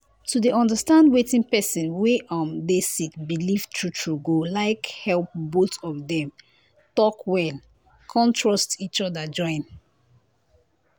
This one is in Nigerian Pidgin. to dey understand wetin pesin wey um dey sick believe true true go like help both of dem talk well con trust each other join.